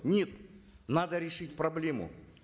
нет надо решить проблему